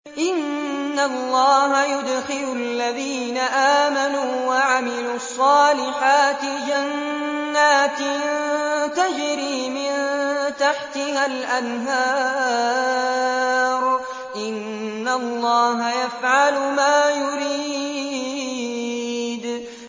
إِنَّ اللَّهَ يُدْخِلُ الَّذِينَ آمَنُوا وَعَمِلُوا الصَّالِحَاتِ جَنَّاتٍ تَجْرِي مِن تَحْتِهَا الْأَنْهَارُ ۚ إِنَّ اللَّهَ يَفْعَلُ مَا يُرِيدُ